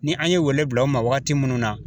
Ni an ye wele bila u ma waagati munnu na